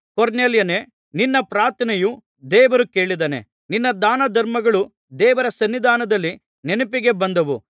ಕೊರ್ನೆಲ್ಯನೇ ನಿನ್ನ ಪ್ರಾರ್ಥನೆಯನ್ನು ದೇವರು ಕೇಳಿದ್ದಾನೆ ನಿನ್ನ ದಾನಧರ್ಮಗಳು ದೇವರ ಸನ್ನಿಧಾನದಲ್ಲಿ ನೆನಪಿಗೆ ಬಂದವು